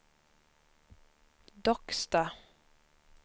Docksta